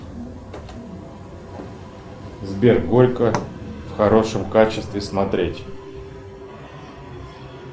сбер горько в хорошем качестве смотреть